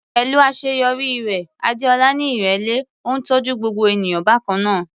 Pẹ̀lú àṣeyọrí rẹ̀, Adeola ní ìrẹ̀lẹ̀, ó ń tọ́jú gbogbo ènìyàn bákan náà.